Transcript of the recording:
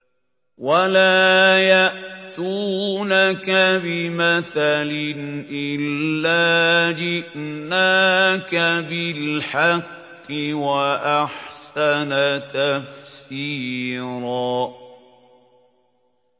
وَلَا يَأْتُونَكَ بِمَثَلٍ إِلَّا جِئْنَاكَ بِالْحَقِّ وَأَحْسَنَ تَفْسِيرًا